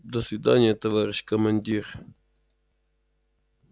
до свидания товарищ командир